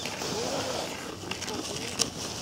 ஓ, இப்போ புரியுது.